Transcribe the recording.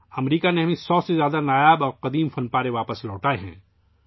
امریکہ نے ہمیں سو سے زائد نادر اور قدیم نوادرات واپس لوٹائی ہیں